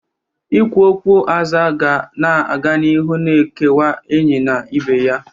Ikwu okwu aza ga na-aga n'iru na-ekewa enyi na ibe ya.